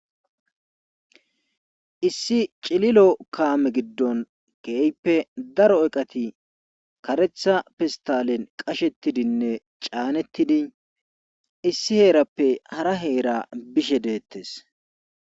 Issi cililo kaame giddon keeyppe daro oqati karetha fistalen qashettidinne caanettidi issi heerappe hara heera bishe deettes.